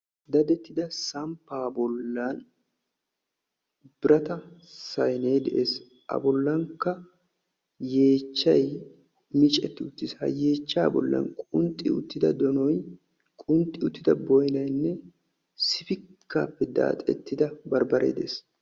dadettida samppa bollan birata saynne de'ees. a bollankka yeechchay micceti uttiis. ha yeechcha bollan qunxxi uttida donoy, qunxxi uttida boynnaynne sifikkappe daaxettida barbbaree de'ees.